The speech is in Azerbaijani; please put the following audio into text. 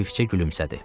Xəfifcə gülümsədi.